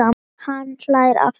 Hann hlær aftur.